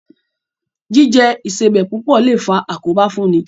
Jíjẹ Ìṣebẹ̀ púpọ̀ lè faa àkóbá fún ni